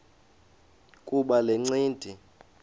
kuba le ncindi